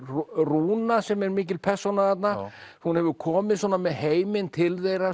rúna sem er mikil persóna þarna hún hefur komið svona með heiminn til þeirra